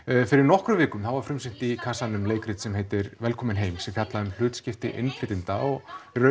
fyrir nokkrum vikum var frumsýnt í kassanum leikrit sem heitir velkomin heim sem fjallar um hlutskipti innflytjenda og